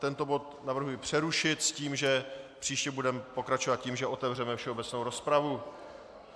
Tento bod navrhuji přerušit s tím, že příště budeme pokračovat tím, že otevřeme všeobecnou rozpravu.